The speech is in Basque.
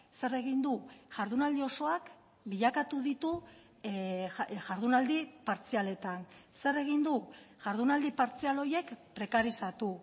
zer egin du jardunaldi osoak bilakatu ditu jardunaldi partzialetan zer egin du jardunaldi partzial horiek prekarizatu